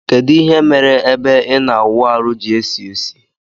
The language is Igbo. Kedu ihe mere ebe imaawụarụ ji esisi?